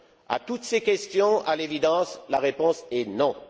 À toutes ces questions, à l'évidence, la réponse est non.